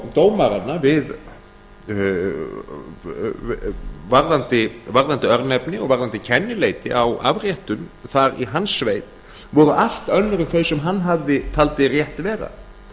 dómaranna varðandi örnefni og varðandi kennileiti á afréttum þar í hans sveit voru allt önnur en þau sem hann taldi rétt vera